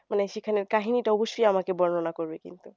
মানে সেখানের কাহিনীটা অবশ্যই আমাকে বর্ণনা করবে কিন্তু